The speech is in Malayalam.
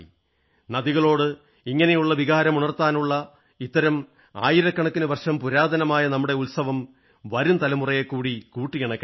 നദികളോട് ഇങ്ങനെയുള്ള വികാരം ഉണർത്താനുള്ള ഇത്തരം ആയിരക്കണക്കിന് വർഷം പുരാതനമായ നമ്മുടെ ഉത്സവം വരും തലമുറയെക്കുടീ കൂട്ടിയിണക്കട്ടെ